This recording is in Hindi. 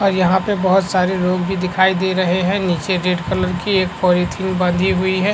और यहाँ पर बहुत सारे लोग भी दिखाई दे रहै हैं नीचे रेड कलर की एक पॉलीथिन बँधी हुई है।